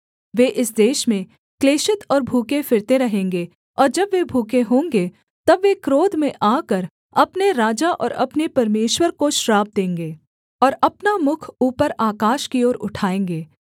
वे इस देश में क्लेशित और भूखे फिरते रहेंगे और जब वे भूखे होंगे तब वे क्रोध में आकर अपने राजा और अपने परमेश्वर को श्राप देंगे और अपना मुख ऊपर आकाश की ओर उठाएँगे